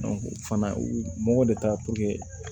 fana u mɔgɔ de ta